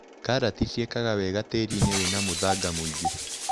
Karati ciĩkaga wega tĩriinĩ wĩna mũthanga mũingĩ.